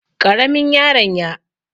Ƙaramin yaron y